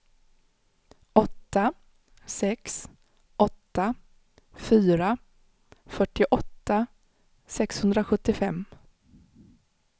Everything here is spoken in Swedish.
åtta sex åtta fyra fyrtioåtta sexhundrasjuttiofem